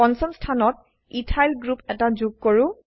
পঞ্চম স্থানত ethyl ethyl group এটা যোগ কৰো